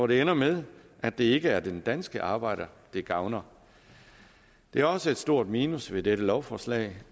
det ender med at det ikke er den danske arbejder det gavner det er også et stort minus ved dette lovforslag